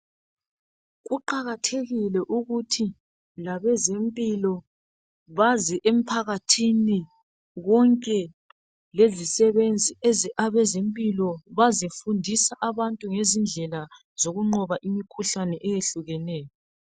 Kuqakathekile ukuthi labezempilo baze emphakathini konke lezisebenzi eze abezempilo bazofundisa abantu ngezindlela zokunqoba imikhuhlane eyehlukeneyo.